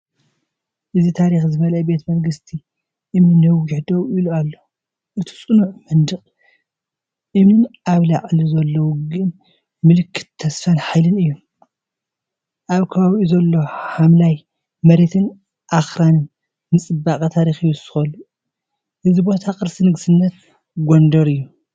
እዚ ታሪኽ ዝመልአ ቤተ መንግስቲ እምኒ ነዊሕ ደው ኢሉ ኣሎ። እቲ ጽኑዕ መናድቕ እምኒን ኣብ ላዕሊ ዘሎ ውግእን ምልክት ተስፋን ሓይልን እዩ ኣብ ከባቢኡ ዘሎ ሓምላይ መሬትን ኣኽራንን ንጽባቐ ታሪኽ ይውስኸሉ። እዚ ቦታ ቅርሲ ንግስነት ጎንደር እዩ።